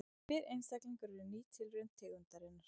Hver einstaklingur er ný tilraun tegundarinnar.